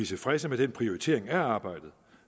tilfredse med den prioritering af arbejdet